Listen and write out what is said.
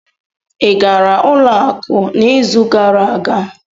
Ị gara ụlọ akụ n'izu gara aga?